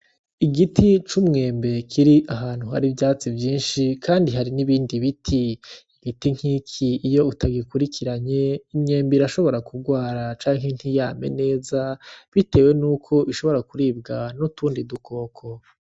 Igiti c'umwembe kiri ahantu hari ivyatsi vyinshi, kandi hari n'ibindi biti. Ibiti vyinshi iyo utabikurikiranye, imyembe irashobora kurwara canke ntiyame neza, bitewe n'uko ishobora kuribwa n'utundi dukoko.